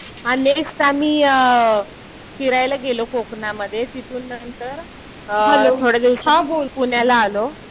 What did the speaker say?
हा नेक्स्ट आम्ही फिरायला गेलो कोकणामध्ये. तिथून नंतर थोड्या दिवसांत पुण्याला आलो.